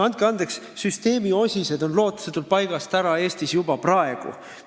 Andke andeks, süsteemi osised on Eestis lootusetult paigast ära juba praegu.